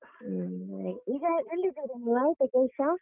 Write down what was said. ಹ್ಮ್ ಹಾಗೆ ಈಗ ಎಲ್ಲಿದ್ದೀರಾ ನೀವ್ ಆಯ್ತಾ ಕೆಲ್ಸ?